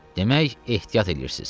Demək ehtiyat eləyirsiz.